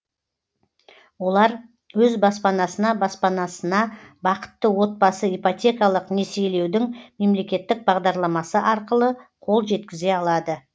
олар өз баспанасына баспанасына бақытты отбасы ипотекалық несиелеудің мемлекеттік бағдарламасы арқылы қол жеткізе алады